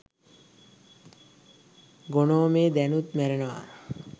ගොනෝමේ දැනුත් මැරෙනවා